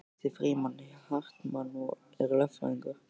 Ég heiti Frímann Hartmann og er lögfræðingur